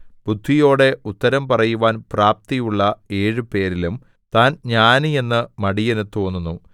ബുദ്ധിയോടെ ഉത്തരം പറയുവാൻ പ്രാപ്തിയുള്ള ഏഴു പേരിലും താൻ ജ്ഞാനി എന്ന് മടിയനു തോന്നുന്നു